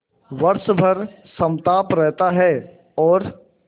वर्ष भर समताप रहता है और